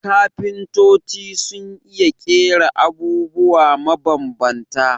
Kafintoci sun iya ƙera abubwa mabambanta